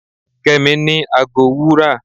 kemi ni àgó wúrà